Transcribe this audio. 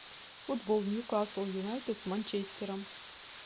футбол ньюкасл юнайтед с манчестером